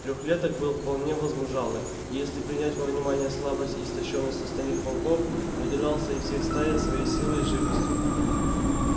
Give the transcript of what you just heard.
трёхлеток был вполне возмужалый и если принять во внимание слабость и истощённость остальных волков выделялся из всей стаи своей силой и живостью